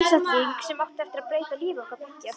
Einstakling sem átti eftir að breyta lífi okkar beggja.